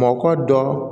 Mɔkɔ dɔ